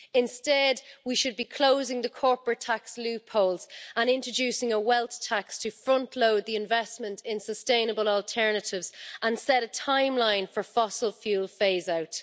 Instead, we should be closing the corporate tax loopholes and introducing a wealth tax to frontload the investment in sustainable alternatives and set a timeline for fossil fuel phase-out.